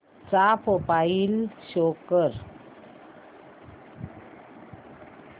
चा profile show कर